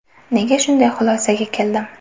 Nega shunday xulosaga keldim?